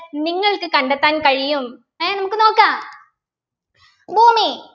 നിങ്ങൾക്ക് കണ്ടെത്താൻ കഴിയും ഏർ നമുക്ക് നോക്കാം ഭൂമി